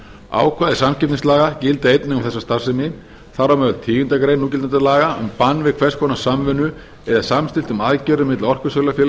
ákvæði samkeppnislaga gilda einnig um þessa starfsemi þar á meðal tíundu grein núgildandi laga um bann við hvers konar samvinnu eða samstilltum aðgerðum milli orkusölufélagsins